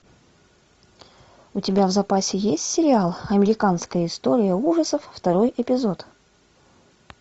у тебя в запасе есть сериал американская история ужасов второй эпизод